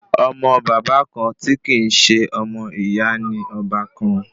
Ọmọ bàbá kan tí kì í ṣe ọmọ ìyá ni ọbàkan